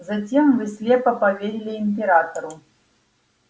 затем вы слепо поверили императору